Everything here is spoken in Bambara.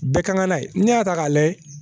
Bɛɛ ka kan n'a ye n'i y'a ta k'a lajɛ